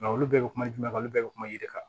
Nka olu bɛɛ bɛ kuma jumɛn kan olu bɛɛ bɛ kuma yiri kan